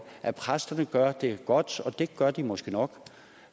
at præsterne gør det godt og det gør de måske nok